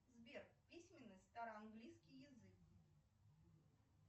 сбер письменный староанглийский язык